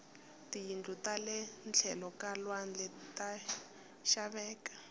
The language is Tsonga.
tiyindlu tale tlhelo ka lwandle ta xaveka